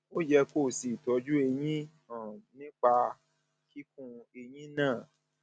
ó yẹ kó o ṣe ìtọjú eyín um náà nípa kíkún eyín náà